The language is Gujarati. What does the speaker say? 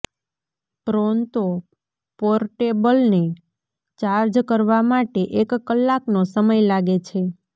પ્રોન્તો પોર્ટેબલને ચાર્જ કરવા માટે એક કલાકનો સમય લાગે છે